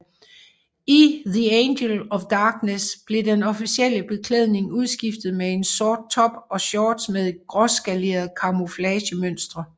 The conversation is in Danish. I The Angel of Darkness blev den officielle beklædning udskiftet med en sort top og shorts med et gråskaleret kamouflagemønster